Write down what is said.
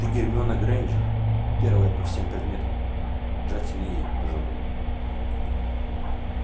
ты гермиона грэйнджер первая по всем предметам джастин и ей пожал руку